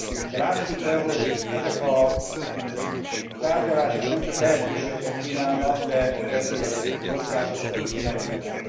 De lássuk be, hogy ezek a tárgyalások nem csak lehetőségeket kínálnak, de veszélyeket, kockázatokat is rejtenek.